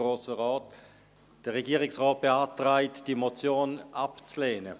Der Regierungsrat beantragt, diese Motion abzulehnen.